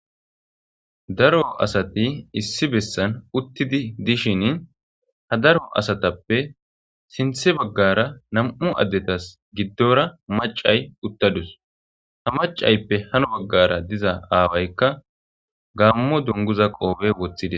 daro asati issi bessan uttidi dishin ha daro asatappe sinthe baggara nam7u addetas giddora macay uttadus ha macayppe hano baggara diza aawaykka gaammo donguza qoobe woththide